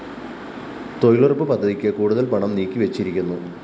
തൊഴിലുറപ്പ് പദ്ധതിക്ക് കൂടുതല്‍ പണം നീക്കിവെച്ചിരിക്കുന്നു